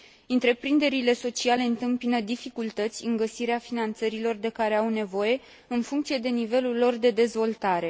Întreprinderile sociale întâmpină dificultăți în găsirea finanțărilor de care au nevoie, în funcție de nivelul lor de dezvoltare.